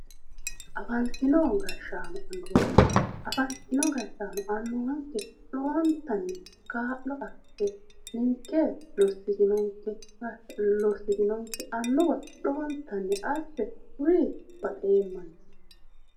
Afantino gashaano, afantino gashaano annuwanke lowontanni kaa'lo assite ninke lossitinonke annuwa lowontanni asse kuri baxeemmansa.